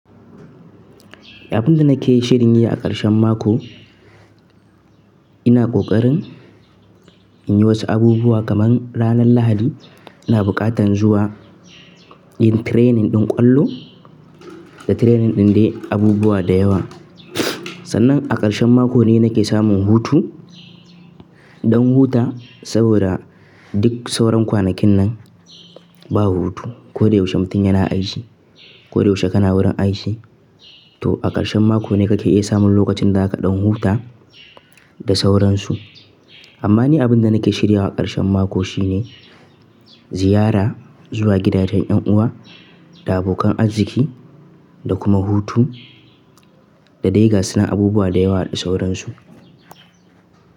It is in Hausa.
Abin da nake shirin yi a ƙarshen mako, ina ƙoƙarin in yi wasu abubuwa kamar ranar Lahadi ina buƙatan zuwa yin training ɗin ƙwallo da training ɗin dai abubuwa da yawa. Sannan a ƙarshen mako ne nake samun hutu don huta saboda duk sauran kwanakin nan babu hutu. Ko da yaushe mutum yana aiki, ko da yaushe kana wurin aiki to a ƙarshen mako ne kake iya samun lokacin da aka ɗan huta da sauransu. Amma ni abin da nake shirya wa ƙarshen mako shine ziyara zuwa gidajen 'yan uwa da abokan arziki da kuma hutu da dai gaunan abubuwa da yawa da sauransu.